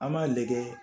An b'a lajɛ